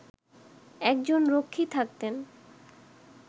একজন রক্ষী থাকতেন